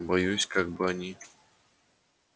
боюсь как бы они